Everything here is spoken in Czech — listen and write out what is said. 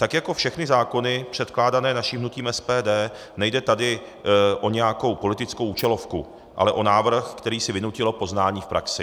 Tak jako všechny zákony předkládané naším hnutím SPD, nejde tady o nějakou politickou účelovku, ale o návrh, který si vynutilo poznání v praxi.